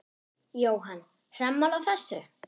Jóhann: Sammála þessu?